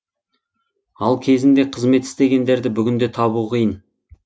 ал кезінде қызмет істегендерді бүгінде табу қиын